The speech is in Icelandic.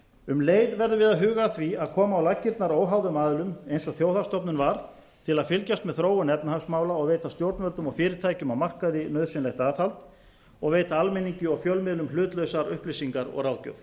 um leið verðum við að huga að því að koma á laggirnar óháðum aðilum eins og þjóðhagsstofnun var til að fylgjast með þróun efnahagsmála og veita stjórnvöldum og fyrirtækjum á markaði nauðsynlegt aðhald og veita almenningi og fjölmiðlum hlutlausar upplýsingar og ráðgjöf